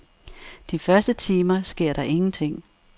De første timer sker der ingenting.